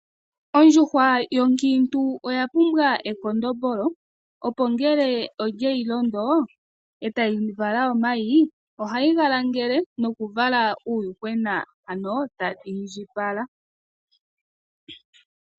Ondjuhwa yonkiintu oya pumbwa ekondombolo opo ngele olyeyi londo etayi vala omayi, ohayi ga langele nokuvala uuyuhwena, ano tadhi indjipala.